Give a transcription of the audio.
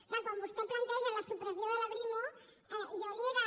és clar quan vostè planteja la supressió de la brimo jo li he de